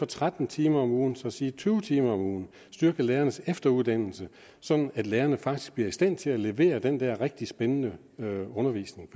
tretten timer om ugen så sige tyve timer om ugen og styrke lærernes efteruddannelse sådan at lærerne faktisk bliver i stand til at levere den rigtig spændende undervisning